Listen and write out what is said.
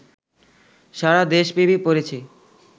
সারাদেশব্যাপী পড়েছে